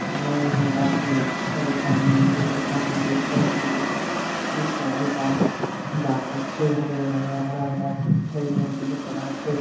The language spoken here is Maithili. अगल-बगल में गाछ-वृक्ष छै सामने एगो बड़का नदी छै ओय नदी के उस पार ओय पार गाछ सब छै हरे-हरे हरा-भरा गाछ सब छै नदी बहुत बड़ा छै।